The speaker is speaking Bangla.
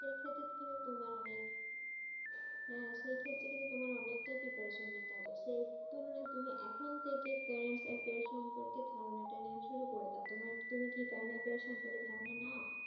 তোমার অনেক হেঁ সেই ক্ষেত্রে কিন্তু তোমার অনেক তা preparation নিতে হবে সেই তুলনা তুমি এখন থেকে current affairs সম্পর্কে ধারণা তা নিয়ে শুরু করে দাও তুমি না কি current affairs সম্পর্কে ধারণা নাও